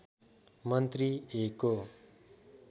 मन्त्री ए को